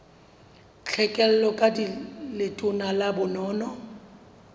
tlhekelo ka letona la bonono